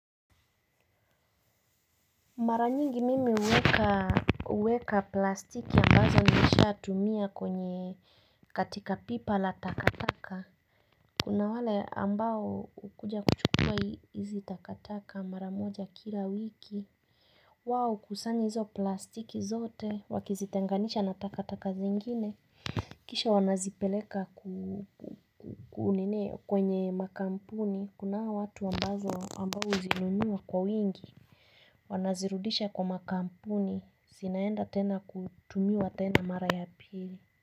Mara nyingi mimi uweka plastiki ambazo nishatumia kwenye katika pipa la takataka. Kuna wale ambao ukuja kuchukua hizi takataka mara moja kila wiki. Wao kusanya hizo plastiki zote wakizitenganisha na takatakata zingine kisha wanazipeleka kwenye makampuni kuna hawa watu ambazo ambazo zinunua kwa wingi wanazirudisha kwa makampuni zinaenda tena kutumiwa tena mara ya pili.